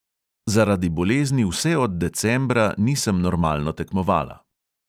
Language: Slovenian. Zaradi bolezni vse od decembra nisem normalno tekmovala.